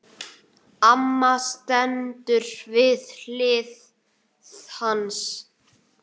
Amma stendur við hlið hans.